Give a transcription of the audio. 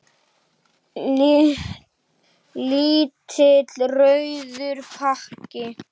Lítill rauður pakki.